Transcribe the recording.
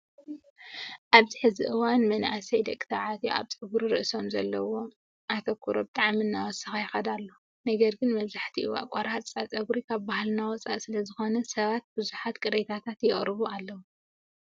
ኣብዚ ሕዚ እዋን መናእሰይ ደቂ ተባዕትዮ ኣብ ፀጉሪ ርእሶም ዘለዎም ኣትኹሮ ብጣዕሚ እናወሰኸ ይኸይድ ኣሎ። ነገር ግን መብዛህቲኡ ኣቆራርፃ ፀጉሪ ካብ ባህልና ወፃኢ ስለዝኾነ ሰባት ብዙሕ ቅሬታታት የቅርቡ ኣለው።